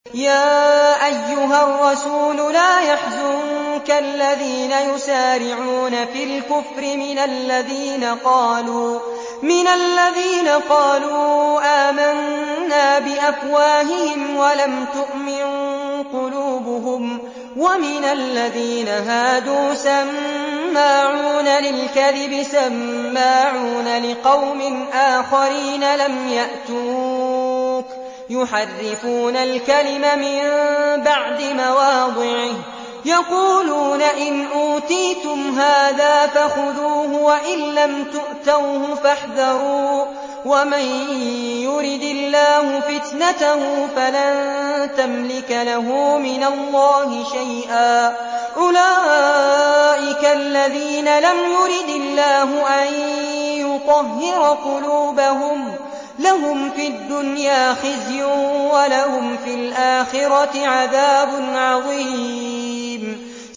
۞ يَا أَيُّهَا الرَّسُولُ لَا يَحْزُنكَ الَّذِينَ يُسَارِعُونَ فِي الْكُفْرِ مِنَ الَّذِينَ قَالُوا آمَنَّا بِأَفْوَاهِهِمْ وَلَمْ تُؤْمِن قُلُوبُهُمْ ۛ وَمِنَ الَّذِينَ هَادُوا ۛ سَمَّاعُونَ لِلْكَذِبِ سَمَّاعُونَ لِقَوْمٍ آخَرِينَ لَمْ يَأْتُوكَ ۖ يُحَرِّفُونَ الْكَلِمَ مِن بَعْدِ مَوَاضِعِهِ ۖ يَقُولُونَ إِنْ أُوتِيتُمْ هَٰذَا فَخُذُوهُ وَإِن لَّمْ تُؤْتَوْهُ فَاحْذَرُوا ۚ وَمَن يُرِدِ اللَّهُ فِتْنَتَهُ فَلَن تَمْلِكَ لَهُ مِنَ اللَّهِ شَيْئًا ۚ أُولَٰئِكَ الَّذِينَ لَمْ يُرِدِ اللَّهُ أَن يُطَهِّرَ قُلُوبَهُمْ ۚ لَهُمْ فِي الدُّنْيَا خِزْيٌ ۖ وَلَهُمْ فِي الْآخِرَةِ عَذَابٌ عَظِيمٌ